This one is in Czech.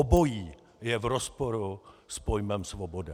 Obojí je v rozporu s pojmem svoboda.